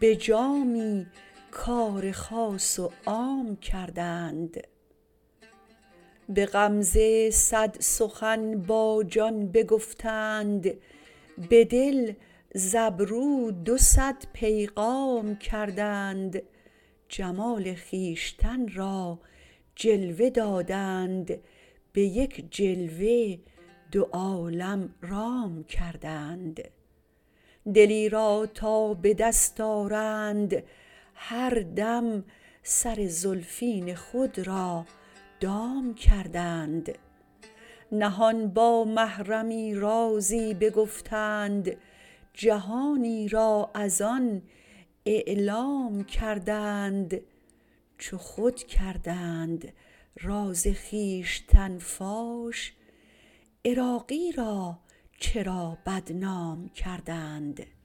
به جامی کار خاص و عام کردند به غمزه صد سخن با جان بگفتند به دل ز ابرو دو صد پیغام کردند جمال خویشتن را جلوه دادند به یک جلوه دو عالم رام کردند دلی را تا به دست آرند هر دم سر زلفین خود را دام کردند نهان با محرمی رازی بگفتند جهانی را از آن اعلام کردند چو خود کردند راز خویشتن فاش عراقی را چرا بدنام کردند